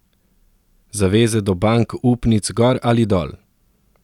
Zaveze do bank upnic gor ali dol!